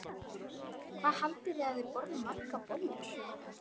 Ingveldur: Hvað haldið þið að þið borðið margar bollur?